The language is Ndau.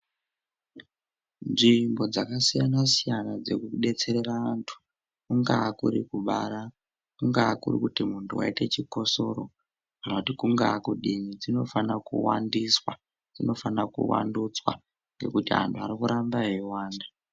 Nzvimbo dzakasiyana-siyana dzekudetsera antu kungaa kurikubara, kungaa kuri kuti muntu waita chikosoro kana kuti kungaa kudini dzinofanira kuwandiswa dzinofanira kuvandudzwa ngekuti anhu arikuramba eiwanda.